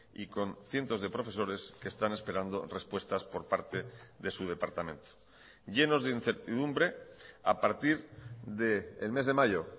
y con cientos de profesores que están esperando respuestas por parte de su departamento llenos de incertidumbre a partir del mes de mayo